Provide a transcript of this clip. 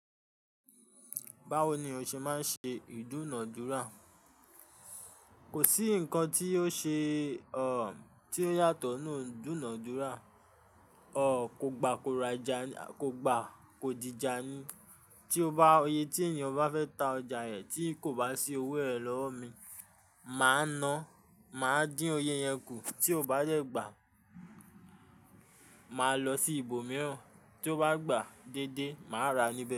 Báwo ni o ṣe máa ń ṣe ìdúnàádúrà? Kò sí nǹkan tí ò ṣe, o, tí ò yàtọ̀ nínú ìdúnàádúrà, o, kò gba, kò dìjà ni. Tí o bá, oyè tí ènìyàn bá fẹ́ ta ọjà rẹ̀ tí kò bá sí owó rẹ̀ lọ́wọ́ mi, màá na, màá dín oyè yẹn kù. Tí ó bá yẹ̀ gbà, màá lọ sí ibòmíràn. Tí ó bá gbà déédéé, màá ra níbẹ̀